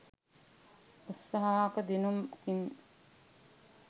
උත්සාහක දිනුම් කින්